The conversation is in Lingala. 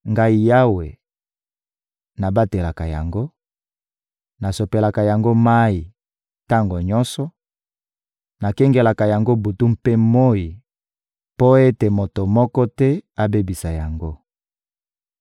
Ngai Yawe, nabatelaka yango, nasopelaka yango mayi tango nyonso, nakengelaka yango butu mpe moyi mpo ete moto moko te abebisa yango.